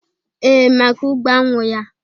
Ee, maka ugbo añwụ ya.